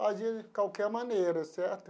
Fazia de qualquer maneira, certo?